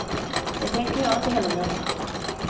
Det tänker jag inte heller göra.